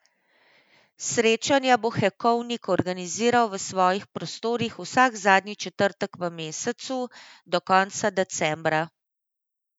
Srečanja bo Hekovnik organiziral v svojih prostorih vsak zadnji četrtek v mesecu do konca decembra.